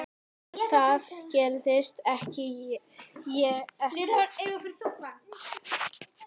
En það gerði ég ekki.